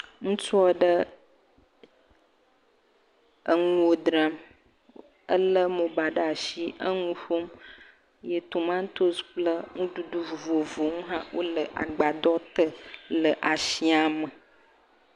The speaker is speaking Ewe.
Ŋutsu aɖe enuwo dzra, ele mobile ɖe asi, enu ƒom eye tomatisi kple nuɖuɖu vovovowo le agbaɖɔ te le asiame